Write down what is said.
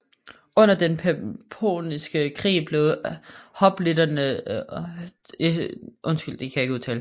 Under den Peloponnesiske Krig blev hoplitternes udrustning gjort lettere og deres mobilitet øget